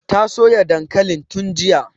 Ta soya dankalin tun jiya